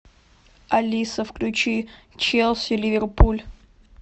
алиса включи челси ливерпуль